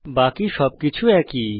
বাকি সবকিছু একই